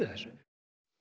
þessu